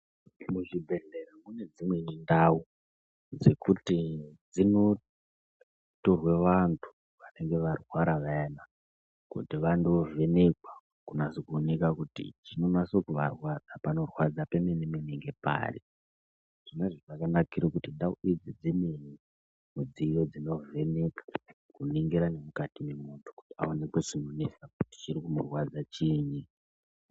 Muzvibhedhlera kune dzimwe ndau dzekuti dzinotorwe vantu vanenge varwara vayana kuti vandovhenekwa kunase kuoneka kuti chinonase kuvarwadza, panorwadza pemene-mene ngepari. Zvonazvo zvakanakiro kuti ndau idzi dzine midziyo dzinovheneka kuningira nemukati memuntu kuti aonekwe chinonesa kuti chiri kumborwadza chiini.